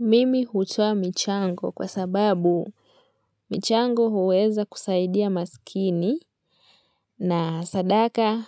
Mimi hutoa michango kwa sababu michango huweza kusaidia maskini. Na sadaka